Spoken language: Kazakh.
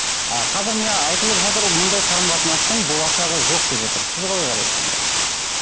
а қазір міне айтылып жатыр мұндай қарым қатынастың болашағы жоқ деп жатыр сіз қалай қарайсыз ондайға